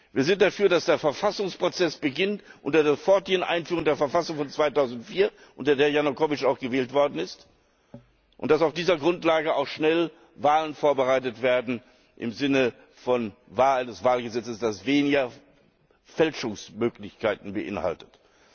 Wir sind dafür, dass der Verfassungsprozess beginnt mit der sofortigen Einführung der Verfassung von 2004, unter der Janukowytsch auch gewählt worden ist, und dass auf dieser Grundlage auch schnell Wahlen vorbereitet werden im Sinne des Wahlgesetzes, das weniger Fälschungsmöglichkeiten beinhaltet.